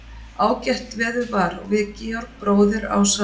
Ágætt veður var og við Georg bróðir, ásamt